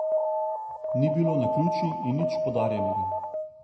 Ni bilo naključij in nič podarjenega.